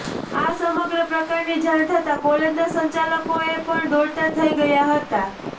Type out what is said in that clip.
આ સમગ્ર પ્રકરણની જાણ થતા કોલેજના સંચાલકોએ પણ દોડાતા થઈ ગયાં હતાં